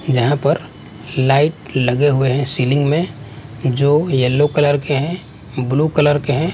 यहां पर लाइट लगे हुए हैं सीलिंग में जो येलो कलर के हैं ब्लू कलर के हैं।